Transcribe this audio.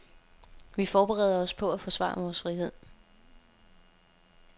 Vi forbereder os på at forsvare vores frihed.